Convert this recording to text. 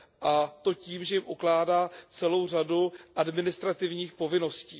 a to tím, že jim ukládá celou řadu administrativních povinností.